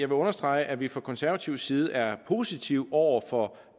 vil understrege at vi fra konservativ side er positive over for